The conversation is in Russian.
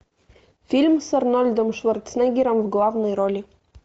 фильм с арнольдом шварценеггером в главной роли